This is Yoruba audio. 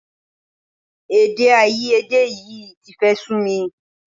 Èdèàìyedè yìí ti fẹ́ máa sú mi